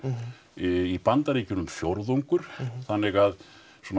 í Bandaríkjunum fjórðungur þannig að svona